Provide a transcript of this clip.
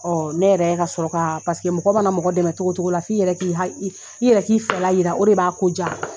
Ɔ ne yɛrɛ ka sɔrɔ ka, paseke mɔgɔ mana mɔgɔ dɛmɛ togo togo la fo i yɛrɛ k' i yɛrɛ k'i fɛla yira o de b'a ko ja.